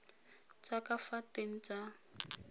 tsa ka fa teng tsa